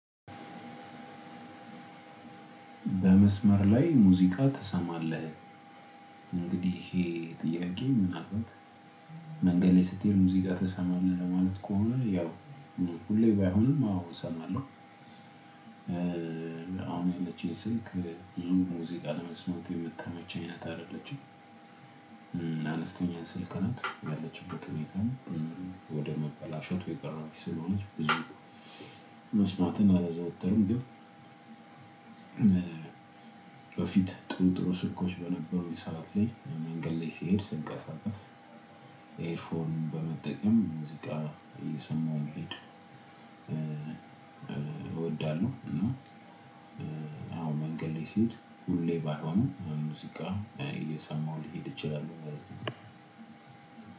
በመስመር ላይ ሙዚቃ ትሰማለህ? እነንጊዲ የሄ ጥየቄ ምናምንት? መንገድ ለይ ስቴድ ሙዚቃ ትሰመለህ ለመለት ከሆና የው ሁሌ በይሆን አዎ ሰመለው። አሁን የለቺኝ ስልክ ቡዙም ሙዚቃ ለመስመት የምታመቼኝ አደለቺም። አንስተኛ ስልክነት ያለችበት ሁኔታም ወደ መበላሸት የቀረበች ስለሆነች ብዙም መስማትን አላዘወተርም። ግን በፊት ጥሩ ጥሩ ስኮች በነበሩኝ ሰዓት ላይ መንገድ ላይ ስሄድ ስንቀሳቀስ ኤርፎን በመጠቀም ሙዚቃ እየሰማሁ መሄድ እወዳለሁ። አዎ መንገድ ላይ ሲሄድ ሁሌ ባይሆንም ሙዚቃ እየሰማሁ ሊሄድ ይችላለው ማለት ነው።